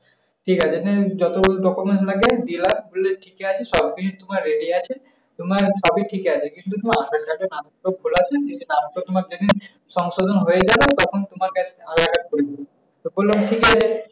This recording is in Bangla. ঠিক আছে নেন যত document আছে দিলাম। বললো ঠিক আছে সবকিছু তোমার ready আছে। তোমার সবই ঠিক আছে কিন্তু তোমার আধার-কার্ড এ নামটা তো ভুল আছে। কিন্তু নামটা তোমার যেদিন সংশোধন হয়ে যাবে তখন তো আমাকে একটা আধার-কার্ডকরে দিব। তো বললাম ঠিক আছে।